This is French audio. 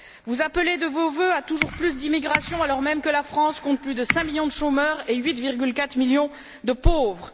Vous appelez de vos vœux à toujours plus d'immigration, alors même que la France compte plus de cinq millions de chômeurs et 8,4 millions de pauvres.